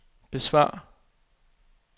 besvar